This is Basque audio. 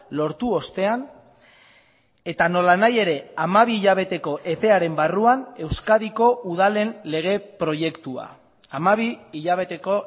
lortu ostean eta nolanahi ere hamabi hilabeteko epearen barruan euskadiko udalen lege proiektua hamabi hilabeteko